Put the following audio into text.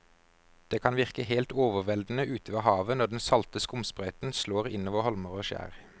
Det kan virke helt overveldende ute ved havet når den salte skumsprøyten slår innover holmer og skjær.